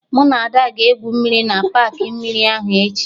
Mụ na Ada ga-egwu mmiri na paakị mmiri ahụ echi